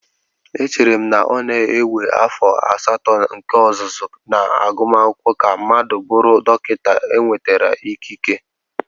Echere m na ọ na-ewe afọ asatọ nke ọzụzụ na agumakwụkwọ ka mmadụ bụrụ dọkịta enwetara ikike